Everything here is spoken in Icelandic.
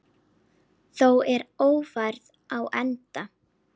Þá er Ófærð á enda.